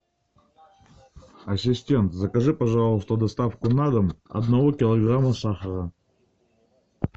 ассистент закажи пожалуйста доставку на дом одного килограмма сахара